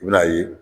I bɛn'a ye